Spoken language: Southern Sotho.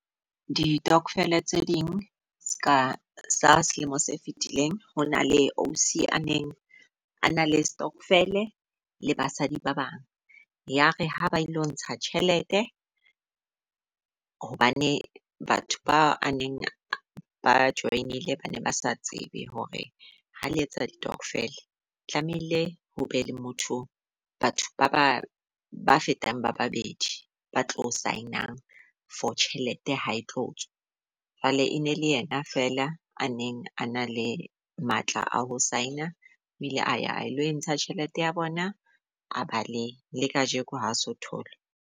Ditokofele tse ding, ska sa selemo se fetileng, ho na le ausi a neng a na le stokvel le basadi ba bang yare ha ba e lo ntsha tjhelete, hobane batho ba a neng ba join-ile ba ne ba sa tsebe hore ha le etsa ditokofela, tlamehile ho be le motho, batho ba ba ba fetang ba babedi ba tlo sign-ang for tjhelete ha e tlo tswa. Jwale e ne le yena feela a neng a na le matla a ho sign-a o ile aya a lo entsha tjhelete ya bona a baleya, le kajeko ha aso thole.